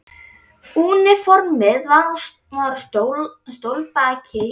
Úniformið var á stólbaki hjá dívaninum.